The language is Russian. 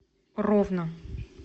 ровно